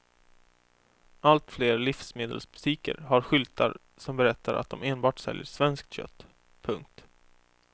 Allt fler livsmedelsbutiker har skyltar som berättar att de enbart säljer svenskt kött. punkt